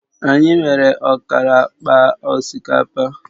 Anyị nwere ọkara akpa osikapa